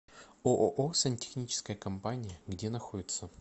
ооо сантехническая компания где находится